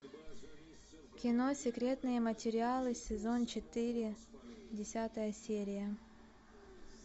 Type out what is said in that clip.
кино секретные материалы сезон четыре десятая серия